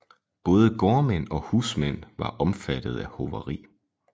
Både gårdmænd og husmænd var omfattede af hoveri